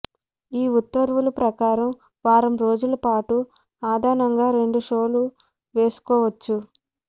ఈ ఉత్తర్వుల ప్రకారం వారం రోజులపాటు అదనంగా రెండు షోలు వేసుకోవచ్చు